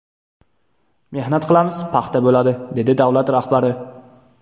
Mehnat qilamiz, paxta bo‘ladi”, dedi davlat rahbari.